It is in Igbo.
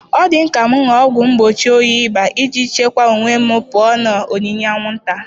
Ọ dị m ka m ṅụọ ọgwụ mgbochi oyi ịba iji chekwaa onwe m pụọ na onyinyé anwụnta.